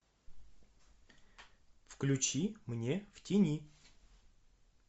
включи мне в тени